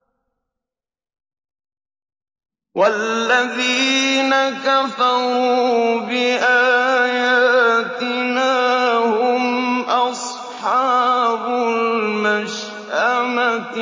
وَالَّذِينَ كَفَرُوا بِآيَاتِنَا هُمْ أَصْحَابُ الْمَشْأَمَةِ